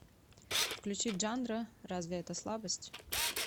включи джандро разве это слабость